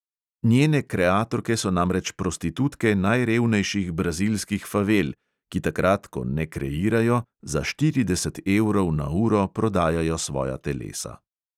Njene kreatorke so namreč prostitutke najrevnejših brazilskih favel, ki takrat, ko ne kreirajo, za štirideset evrov na uro prodajajo svoja telesa.